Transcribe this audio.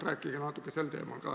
Rääkige natuke sel teemal ka.